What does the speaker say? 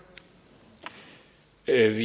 er